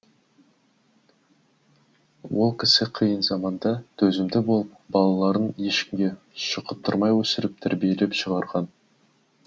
ол кісі қиын заманда төзімді болып балаларын ешкімге шұқыттырмай өсіріп тәрбиелеп шығарған